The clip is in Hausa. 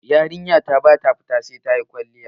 Yarinya na ba ta fita sai ta yi kwalliya.